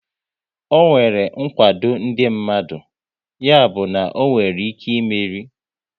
Ọ nwere nkwado ndị mmadụ, ya bụ na onwere ike ịmeri